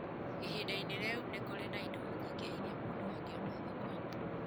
Ihinda-inĩ rĩu nĩ kũrĩ na indo nyingĩ iria mũndũ angĩona thoko-inĩ.